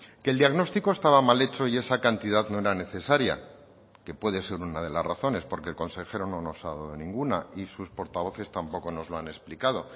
que el diagnóstico estaba mal hecho y esa cantidad no era necesaria que puede ser una de las razones porque el consejero no nos ha dado ninguna y sus portavoces tampoco nos lo han explicado